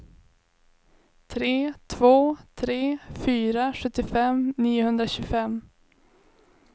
tre två tre fyra sjuttiofem niohundratjugofem